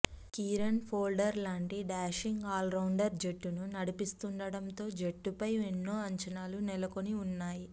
Kieron Pollard లాంటి dashing allrounder జట్టును నడిపిస్తుండడంతో జట్టుపై ఎన్నో అంచనాలు నెలకొని ఉన్నాయి